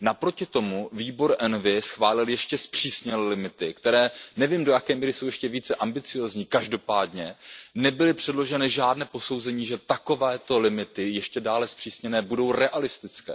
Naproti tomu výbor ENVI schválil ještě přísnější limity, které, nevím do jaké míry, jsou ještě více ambiciózní, každopádně nebyly předloženy žádná posouzení, že takovéto limity ještě dále zpřísněné budou realistické.